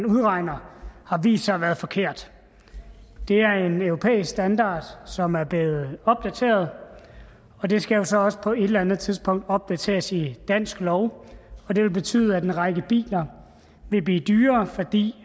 udregnet har vist sig at være forkert det er en europæisk standard som er blevet opdateret og det skal jo så også på et eller andet tidspunkt opdateres i dansk lov og det vil betyde at en række biler vil blive dyrere fordi